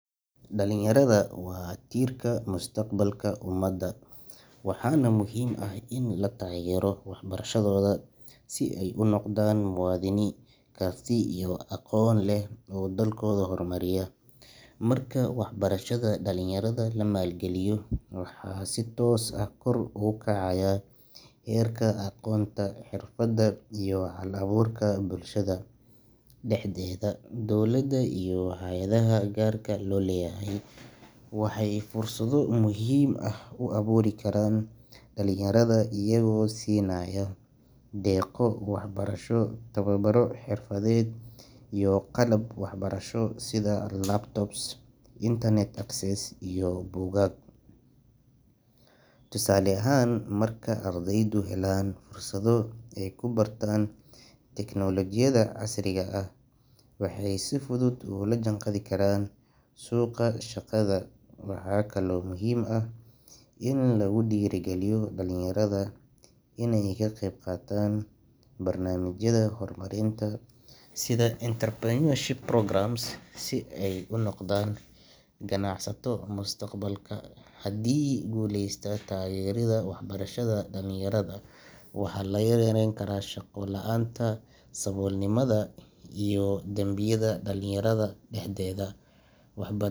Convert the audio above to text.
Dalinyarada waa tiirka mustaqbalka ummadda, waxaana muhiim ah in la taageero waxbarashadooda si ay u noqdaan muwaadini karti iyo aqoon leh oo dalkooda horumariya. Marka waxbarashada dhalinyarada la maalgeliyo, waxaa si toos ah kor ugu kacaya heerka aqoonta, xirfadda iyo hal-abuurka bulshada dhexdeeda. Dowladda iyo hay’adaha gaarka loo leeyahay waxay fursado muhiim ah u abuuri karaan dhalinyarada iyagoo siinaya deeqo waxbarasho, tababaro xirfadeed iyo qalab waxbarasho sida laptops, internet access iyo buugaag. Tusaale ahaan, marka ardaydu helaan fursado ay ku bartaan tiknoolajiyadda casriga ah, waxay si fudud ula jaanqaadi karaan suuqa shaqada. Waxaa kaloo muhiim ah in lagu dhiirrigeliyo dhalinyarada inay ka qeybqaataan barnaamijyada horumarinta sida entrepreneurship programs si ay u noqdaan ganacsato mustaqbalka. Haddii lagu guuleysto taageeridda waxbarashada dhalinyarada, waxaa la yarayn karaa shaqo la’aanta, saboolnimada iyo dambiyada dhalinyarada dhexdeeda. Waxb.